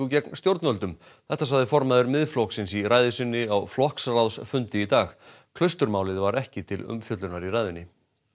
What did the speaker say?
gegn stjórnvöldum þetta sagði formaður Miðflokksins í ræðu sinni á flokksráðsfundi í dag klausturmálið var ekki til umfjöllunar í ræðunni